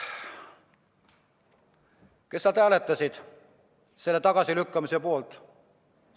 Kes hääletasid selle tagasilükkamise poolt?